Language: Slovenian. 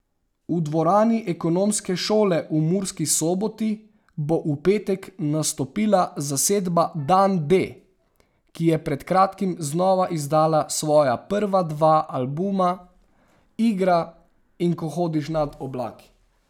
V dvorani ekonomske šole v Murski Soboti bo v petek nastopila zasedba Dan D, ki je pred kratkim znova izdala svoja prva dva albuma Igra in Ko hodiš nad oblaki.